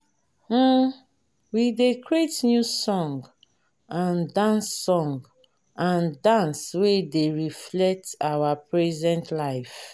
um we dey create new song and dance song and dance wey dey reflect our present life.